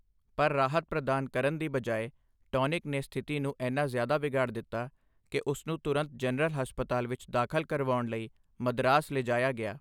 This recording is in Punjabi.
ਪਰ ਰਾਹਤ ਪ੍ਰਦਾਨ ਕਰਨ ਦੀ ਬਜਾਏ, ਟੌਨਿਕ ਨੇ ਸਥਿਤੀ ਨੂੰ ਇੰਨਾ ਜ਼ਿਆਦਾ ਵਿਗਾੜ ਦਿੱਤਾ ਕਿ ਉਸਨੂੰ ਤੁਰੰਤ ਜਨਰਲ ਹਸਪਤਾਲ ਵਿੱਚ ਦਾਖਲ ਕਰਾਉਣ ਲਈ ਮਦਰਾਸ ਲਿਜਾਇਆ ਗਿਆ।